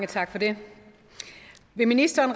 tak til ministeren